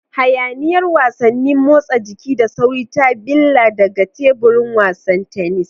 Hayaniyar wasannin motsa jiki da sauri ta billa daga teburin wasan tennis.